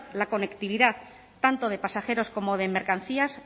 la conectividad tanto de pasajeros como de mercancías